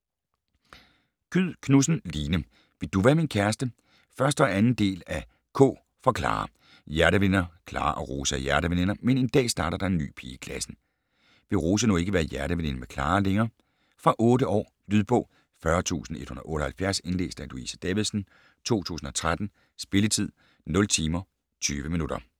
Kyed Knudsen, Line: Vil du være min kæreste? 1 og 2. del af K for Klara. Hjerteveninder: Klara og Rose er hjerteveninder. Men en dag starter der en ny pige i klassen. Vil Rose nu ikke være hjerteveninde med Klara længere? Fra 8 år. Lydbog 40178 Indlæst af Louise Davidsen, 2013. Spilletid: 0 timer, 20 minutter.